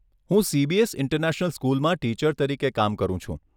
હું CBS international સ્કૂલમાં teacher તરીકે કામ કરું છું.